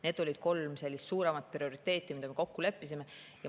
Need olid kolm suuremat prioriteeti, milles me kokku leppisime.